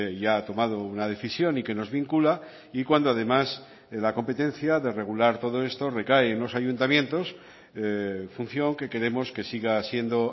ya ha tomado una decisión y que nos vincula y cuando además la competencia de regular todo esto recae en los ayuntamientos función que queremos que siga siendo